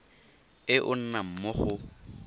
e o nnang mo go